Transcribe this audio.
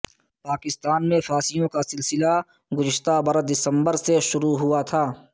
پاکستان میں پھانسیوں کا سلسلہ گذشتہ برس دسمبر سے شروع ہوا تھا